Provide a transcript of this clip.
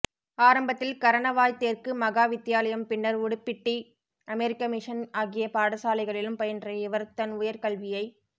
ஆரம்பத்தில் கரணவாய் தெற்கு மகாவித்தியாலயம் பின்னர் உடுப்பிட்டி அமெரிக்க மிஷன் ஆகிய பாடசாலைகளிலும் பயின்ற இவர் தன் உயர் கல்வியை